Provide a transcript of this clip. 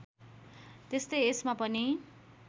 त्यस्तै यसमा पनि